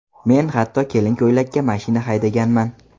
Men hatto kelin ko‘ylakda mashina haydaganman.